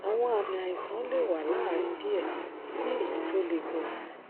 àwọn àmì àìsàn lè wà láàárín díẹ sí èyí tó le gan